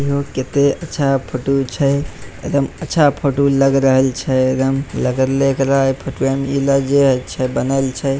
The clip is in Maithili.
इहो कते अच्छा फ़ोटो छै एकदम अच्छा फ़ोटो लग रहल छै एकदम लग रहले एकरा इ --